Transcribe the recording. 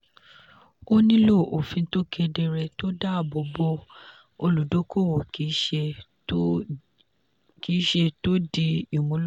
a nílò òfin tó kedere tó dáàbò bo olùdókòwò kì í ṣe tó dí ìmúlò.